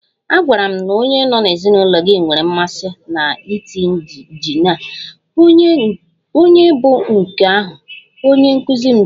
A gwara m na onye nọ n'ezinụlọ gị nwere mmasị na tii jinja, ònye bụ nke ahụ? Onye nkuzi jụrụ m.